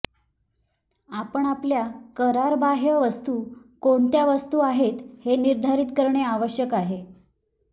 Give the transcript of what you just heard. आपण आपल्या करारबाह्य वस्तू कोणत्या वस्तू आहेत हे निर्धारित करणे आवश्यक आहे